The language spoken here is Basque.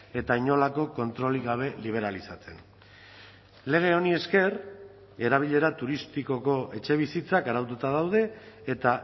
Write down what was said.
eta inolako kontrolik gabe liberalizatzen lege honi esker erabilera turistikoko etxebizitzak araututa daude eta